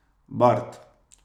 Bard.